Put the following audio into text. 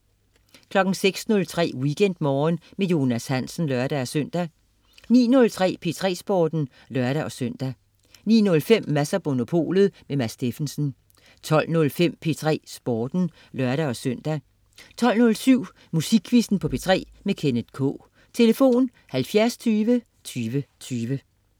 06.03 WeekendMorgen med Jonas Hansen (lør-søn) 09.03 P3 Sporten (lør-søn) 09.05 Mads & Monopolet. Mads Steffensen 12.05 P3 Sporten (lør-søn) 12.07 Musikquizzen på P3. Kenneth K. Tlf.: 70 20 20 20